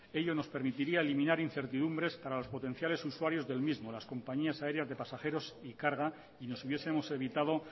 ello nos permitiría eliminar incertidumbres para los potenciales usuarios del mismo las compañías aéreas de pasajeros y carga y nos hubiesemos evitado